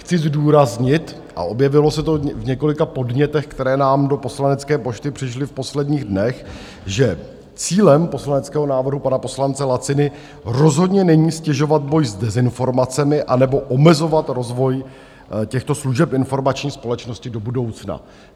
Chci zdůraznit - a objevilo se to v několika podnětech, které nám do poslanecké pošty přišly v posledních dnech - že cílem poslaneckého návrhu pana poslance Laciny rozhodně není ztěžovat boj s dezinformacemi anebo omezovat rozvoj těchto služeb informační společnosti do budoucna.